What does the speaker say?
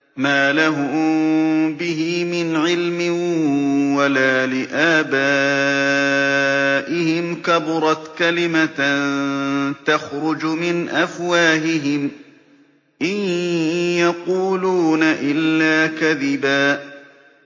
مَّا لَهُم بِهِ مِنْ عِلْمٍ وَلَا لِآبَائِهِمْ ۚ كَبُرَتْ كَلِمَةً تَخْرُجُ مِنْ أَفْوَاهِهِمْ ۚ إِن يَقُولُونَ إِلَّا كَذِبًا